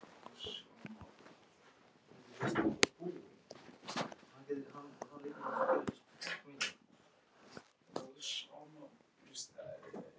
Páll Ketilsson: Hversu bjartsýn eruð þið, getur þetta farið illa?